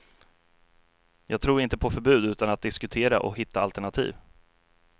Jag tror inte på förbud utan att diskutera och hitta alternativ.